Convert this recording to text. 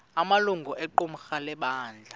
amalungu equmrhu lebandla